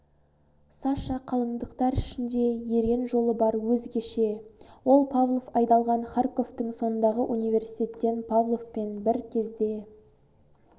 саша қалындықтар ішінде ерен жолы бар өзгеше ол павлов айдалған харьковтан сондағы университеттен павловпен бір кезде